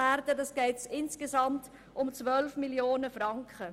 Insgesamt geht es somit um 12 Mio. Franken.